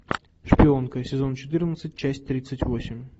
шпионка сезон четырнадцать часть тридцать восемь